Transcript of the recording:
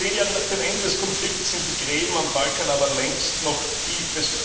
Zehn Jahre nach dem Ende des Konflikts sind die Gräben am Balkan aber nach wie vor tief.